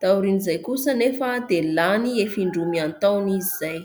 Taorian'izay kosa anefa dia lany efa indroa mihataona izy izay.